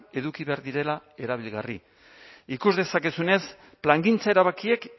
eduki behar direla erabilgarri ikus dezakezunez plangintza erabakiek